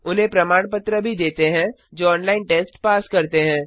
उन्हें प्रमाण पत्र भी देते हैं जो ऑनलाइन टेस्ट पास करते हैं